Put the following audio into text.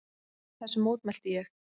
Þessu mótmælti ég.